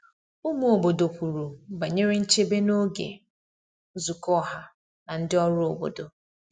Ụmụ obodo kwuru banyere nchebe n’oge nzukọ ọha na ndị ọrụ obodo.